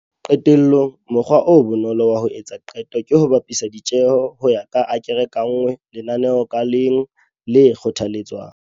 Qetellong, mokgwa o bonolo wa ho etsa qeto ke ho bapisa ditjheho ho ya ka akere ka nngwe lenaneong ka leng le kgothaletswang.